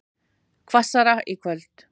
Hvassara í kvöld